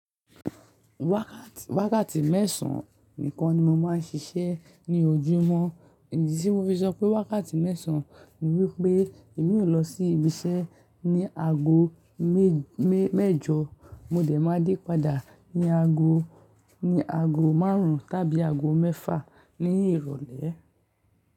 Wákàtì, wákàtì mẹ́sàn-án nìkan ni mo máa ń ṣiṣẹ́ ní ojúmọ́. Ìdí tí mo fi sọ pé wákàtì mẹ́sàn-án ni wípé èmi ò lọ sí ibi iṣẹ́ ní ago mé, mé mẹ́jọ, mo dẹ̀ máa dé padà ní ago, ní ago márùn-ún tàbí ago mẹ́fà ní ìrọ̀lẹ́.